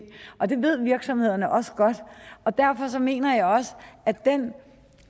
og det ved virksomhederne også godt derfor mener jeg også at den